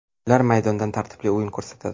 Ular maydonda tartibli o‘yin ko‘rsatadi.